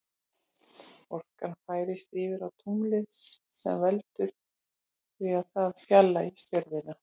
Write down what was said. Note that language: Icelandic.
Orkan færist yfir á tunglið sem veldur því að það fjarlægist jörðina.